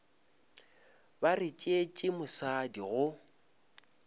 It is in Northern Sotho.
ba re tšeetše mosadi go